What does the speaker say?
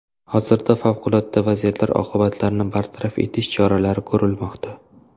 Hozirda favqulodda vaziyat oqibatlarini bartaraf etish choralari ko‘rilmoqda.